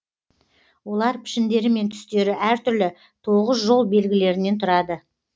олар пішіндері мен түстері әр түрлі тоғыз жол белгілерінен тұрады